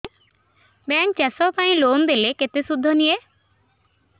bank ଚାଷ ପାଇଁ loan ଦେଲେ କେତେ ସୁଧ ନିଏ